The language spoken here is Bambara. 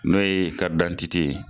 N'o ye ye.